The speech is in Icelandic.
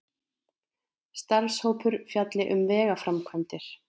Starfshópur fjalli um vegaframkvæmdir